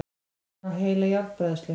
Hann á heila járnbræðslu!